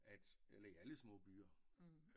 At eller i alle små byer